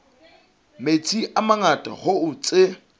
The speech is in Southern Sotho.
metsi a mangata hoo tse